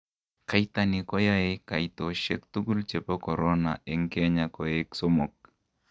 kaitani koyae kaitoshek tukul chepo korona en Kenya koek somok